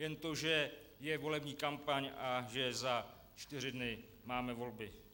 Jen to, že je volební kampaň a že za čtyři dny máme volby.